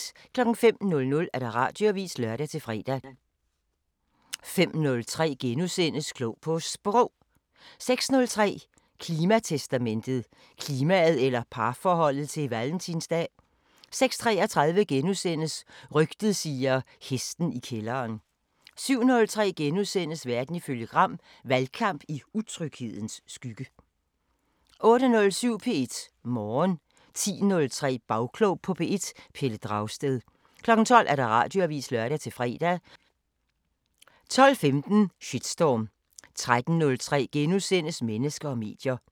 05:00: Radioavisen (lør-fre) 05:03: Klog på Sprog * 06:03: Klimatestamentet: Klimaet eller parforholdet til Valentins dag? 06:33: Rygtet siger: Hesten i kælderen * 07:03: Verden ifølge Gram: Valgkamp i utryghedens skygge * 08:07: P1 Morgen 10:03: Bagklog på P1: Pelle Dragsted 12:00: Radioavisen (lør-fre) 12:15: Shitstorm 13:03: Mennesker og medier *